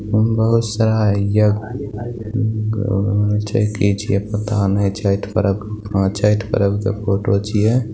बहुत सारा यज्ञ छै की छिए पता ने छठ पर्व हां छठ पर्व के फोटो छिये।